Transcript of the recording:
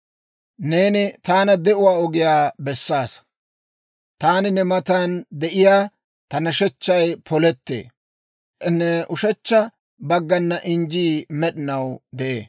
Neeni taana de'uwaa ogiyaa bessaasa. Taani ne matan de'ina, ta nashechchay polettee; ne ushechcha baggana injjii med'inaw de'ee.